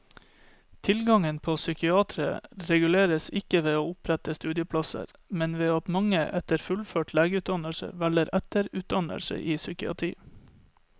Tilgangen på psykiatere reguleres ikke ved å opprette studieplasser, men ved at mange etter fullført legeutdannelse velger etterutdannelse i psykiatri.